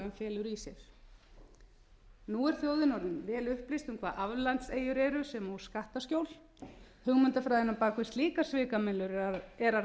sér nú er þjóðin orðin vel upplýst um hvað aflandseyjar eru sem og skattaskjól hugmyndafræðin á bak við slíkar svikamyllur er að